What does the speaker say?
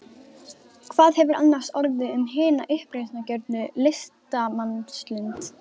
Hvað hefur annars orðið um hina uppreisnargjörnu listamannslund?